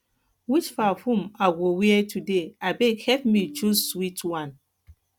which perfume i go wear today abeg help me choose sweet one